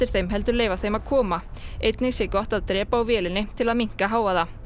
þeim heldur leyfa þeim að koma einnig sé gott að drepa á vélinni til að minnka hávaða